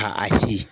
Ka a si